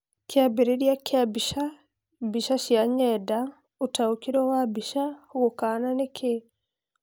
Kiambĩrĩria kĩa mbica: mbica cia nyenda, ũtaũkeruo wa mbica, gukana nĩ kĩĩ?